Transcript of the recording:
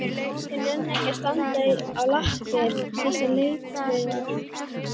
Þeir nenna ekki að standa á lappir þessir letihaugar!